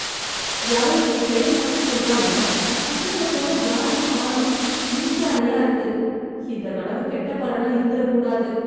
யாரோ என் பெயர் மட்டும் சொல்றாங்க பக்கத்துல போனா யாரையும் காணும் இருட்டு அறையா இருக்கு, இந்த கனவு கெட்ட பலனா இருந்திற கூடாது